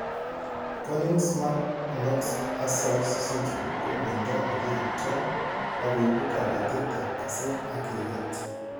Konigsmark Knox Hussels syndrome ko myondo nikiyoptoi akoibu kobetet ab kaset ak keret